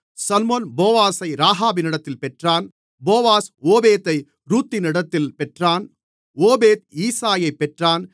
சல்மோன் போவாசை ராகாபினிடத்தில் பெற்றான் போவாஸ் ஓபேத்தை ரூத்தினிடத்தில் பெற்றான் ஓபேத் ஈசாயைப் பெற்றான்